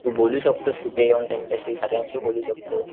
तू बोलू शकतोस तिथे येऊन त्यांच्याशी सगळ्यांशी बोलू शकतोस,